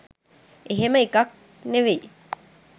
එහෙම එකක් නෙවෙයි.